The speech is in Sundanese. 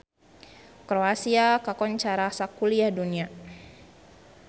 Kroasia kakoncara sakuliah dunya